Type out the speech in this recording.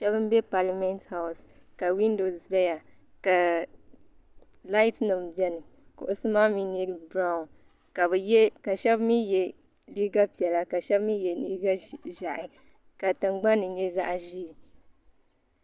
Shɛba m-be palimenti hawusi ka window zaya laatinima beni kuɣusi maa mi nyɛ biranwu ka shɛba mi ye liiga piɛla ka shɛba mi ye liiga ʒɛhi ka tiŋgbani ni nyɛ zaɣ'ʒee.